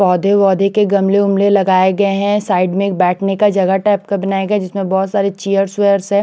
पोधे वोधे के गमले वमले लगाये गये है साइड में एक बाटने का जगाह टब सा बनाया गया है जिसमे बहोत सारे चेयर्स वेयश है।